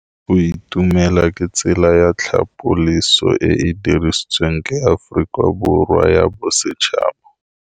Go itumela ke tsela ya tlhapolisô e e dirisitsweng ke Aforika Borwa ya Bosetšhaba.